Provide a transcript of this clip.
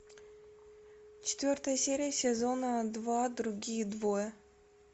четвертая серия сезона два другие двое